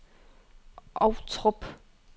Ovtrup